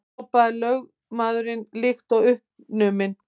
hrópaði lögmaðurinn líkt og uppnuminn.